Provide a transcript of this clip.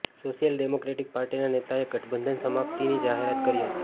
social democratic પાર્ટીના નેતાએ ગઠબંધન સમાપ્તિની જાહેરાત કરી હતી